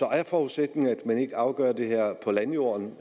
er forudsætningen at man ikke afgør det her på landjorden